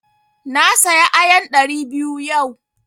Na saya ayan ɗari biyu yau.